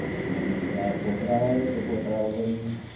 મગ ની દાળ ફોત્રા વાળી કે ફોત્રા વગર ની